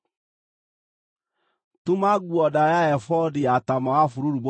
“Tuma nguo ndaaya ya ebodi ya taama wa bururu mũtheri,